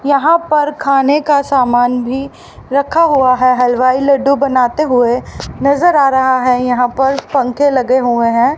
यहां पर खाने का सामान भी रखा हुआ है। हलवाई लड्डू बनाते हुए नजर आ रहा हैं। यहां पर पंखे लगे हुए है।